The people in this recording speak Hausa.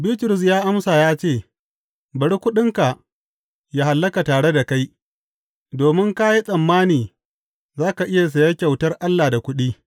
Bitrus ya amsa ya ce, Bari kuɗinka ya hallaka tare da kai, domin ka yi tsammani za ka iya saya kyautar Allah da kuɗi!